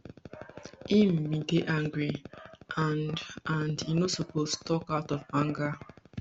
im bin dey angry and and e no suppose tok out of anger